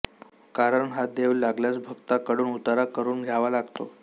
कारण हा देव लागल्यास भगताकडून उतारा करून घ्यावा लागतो